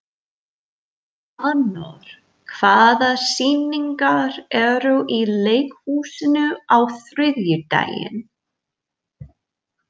Anor, hvaða sýningar eru í leikhúsinu á þriðjudaginn?